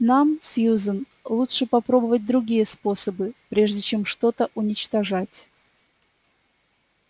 нам сьюзен лучше попробовать другие способы прежде чем что-то уничтожать